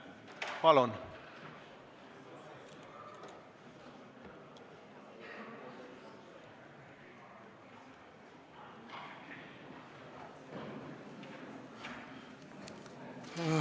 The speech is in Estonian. Palun!